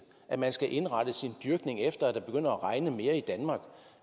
at man skal indrette sin dyrkning efter at det begynder at regne mere i danmark